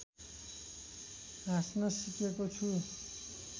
हाँस्न सिकेको छु